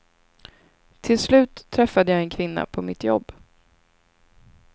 Till slut träffade jag en kvinna på mitt jobb.